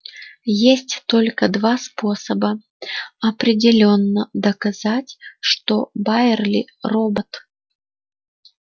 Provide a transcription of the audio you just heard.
есть только два способа определённо доказать что байерли робот